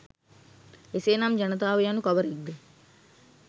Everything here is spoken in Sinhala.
එසේනම් ජනතාව යනු කවරෙක්ද